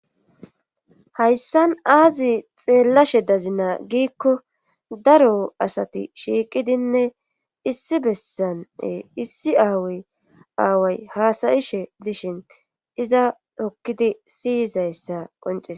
Hayssan aazi xeellashe dazinaa giikko daro asati shiiqidinne issi bessane issi aaway aaway haasayishe dishin iza hokkidi siyizayssa qoncies